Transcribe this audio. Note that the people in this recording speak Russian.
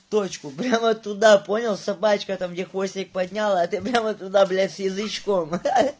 точку прямо туда понял собачка там где хвостик подняла а ты прямо туда блять язычком ха-ха